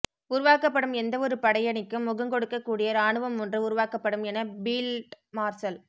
உருவாக்கப்படும் எந்தவொரு படையணிக்கும் முகங்கொடுக்க கூடிய இராணுவம் ஒன்று உருவாக்கப்படும் என பீல்ட் மார்சல்